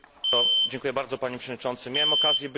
Miałem okazję być dwukrotnie w Kambodży.